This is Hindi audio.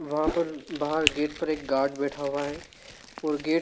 वहां पर बाहर गेट पर एक गार्ड बैठा हुआ है और गेट --